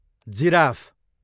giraffe